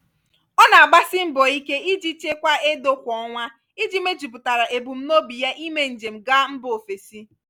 ọ na-agbasi mbọ ike ichekwa edo kwa ọnwa iji mejupụtara ebumnobi ya ímé njem gaa mbà ofesi.